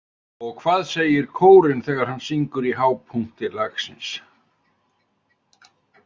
Og hvað segir kórinn þegar hann syngur í hápunkti lagsins?